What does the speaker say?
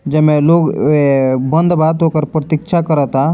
जेमे लोग ए बंद बा तो ओकर प्रतीक्षा कराता।